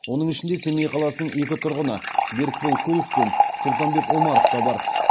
оның ішінде семей қаласының екі тұрғыны берікбол кулов пен сұлтанбек омаров та бар